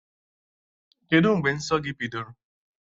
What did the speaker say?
Kedụ mgbe nsọ gị bidoro?